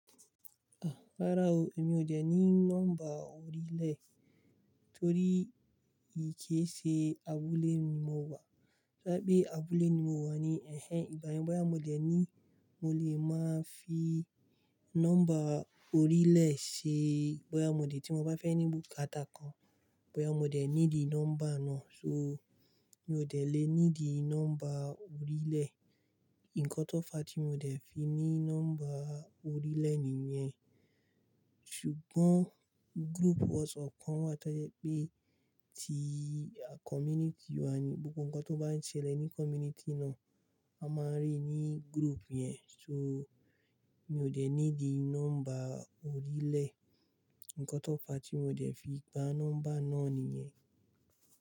Rárá o, èmi ò dè ní nọ́mbà orílẹ̀ torí kéṣe abúlé ni mo wà. To bá jẹ́ pé abúlé ni mo wà ni, ẹhen, ìgbà yẹn boya mo dẹ̀ ní, mo lè máa fi nọ́mbà orílẹ̀ ṣe, bóyá mo dè tí mo bá fẹ́ ní búkátà kan, báyìí mo dè nídi nọ́mbà náà. So, mi ò dè lè nídi nọ́mbà orílẹ̀. Ǹkan tó fa tí mo ò dè fi ní nọ́mbà orílẹ̀ nìyẹn. Ṣùgbọ́n group WhatsApp kan wà tó jẹ́ pé ti community wa ni, gbogbo ǹkan tó bá ń ṣẹlẹ̀ ní community náà, a máa ríi ní group yẹn. So, mi ò dè nídi nọ́mbà orílẹ̀. Ǹkan tó fa tí mo ò dè fi gba nọ́mbà náà nìyẹn.